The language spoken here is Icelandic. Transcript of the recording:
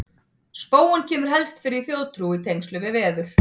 Spóinn kemur helst fyrir í þjóðtrú í tengslum við veður.